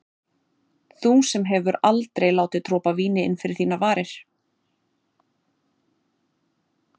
Þú sem hefur aldrei látið dropa af víni inn fyrir þínar varir.